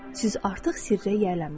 Siz artıq sirrə yiyələnmisiniz.